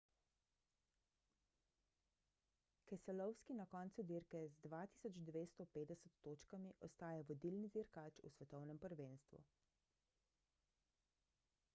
keselowski na koncu dirke z 2250 točkami ostaja vodilni dirkač v svetovnem prvenstvu